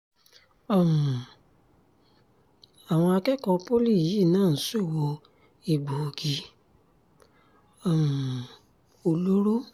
um àwọn akẹ́kọ̀ọ́ pólí yìí náà ń ṣòwò egbòogi um olóró